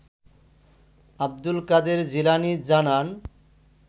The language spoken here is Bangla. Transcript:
আব্দুল কাদের জিলানী জানান